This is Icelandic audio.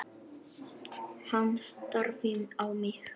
Hann starði á mig.